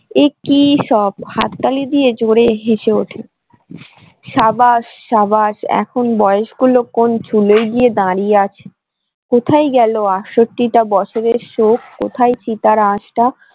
কি সব হাততালি দিয়ে জোরে হেসে ওঠে সাবাস সাবাস এখন বয়স গুলো কোন চুলোয় গিয়ে দাঁড়িয়ে আছে কোথায় গেল টা বছরের শোক কোথায় চিতার আঁশটা ।